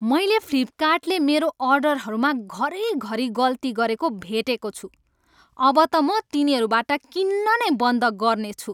मैले फ्लिपकार्टले मेरो अर्डरहरूमा घरिघरि गल्ती गरेको भेटेको छु अब त म तिनीहरूबाट किन्न नै बन्द गर्नेछु।